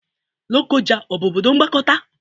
Lokoja ọ bụ obodo mgbakọta?